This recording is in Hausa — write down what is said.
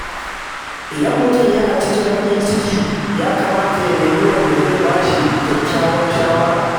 Idan mutum yana cikin baƙin ciki, ya kamata ya nemi wanda zai ba shi kyakkyawar shawara.